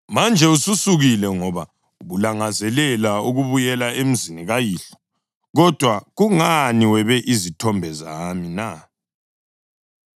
Manje ususukile ngoba ubulangazelela ukubuyela emzini kayihlo. Kodwa kungani webe izithombe zami na?”